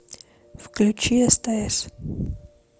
включи стс